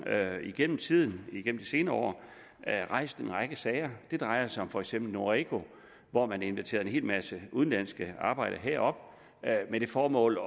at jeg gennem tiden igennem de senere år har rejst en række sager det drejer sig for eksempel om noreco hvor man inviterede en hel masse udenlandske arbejdere herop med det formål